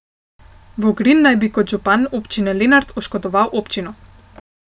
Vogrin naj bi kot župan občine Lenart oškodoval občino.